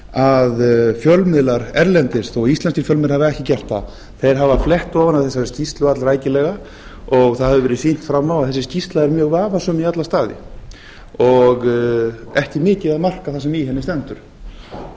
að fjölmiðlar erlendis þó íslenskir fjölmiðlar hafi ekki gert það þeir hafa flett ofan af þessari skýrslu allrækilega það hefur verið sýnt fram á að þessi skýrsla er mjög vafasöm í alla staði og ekki mikið að marka það sem í